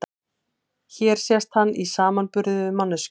Hér sést hann í samanburði við manneskju.